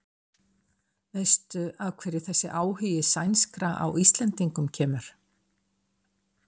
Veistu af hverju þessi áhugi sænskra á Íslendingum kemur?